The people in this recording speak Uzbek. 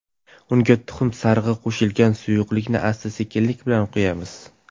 Unga tuxum sarig‘i qo‘shilgan suyuqlikni asta-sekinlik bilan quyamiz.